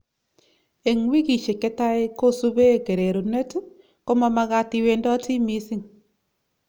Eng wikishiek chetai kosube kererunet ,komamagat iwendoti missing.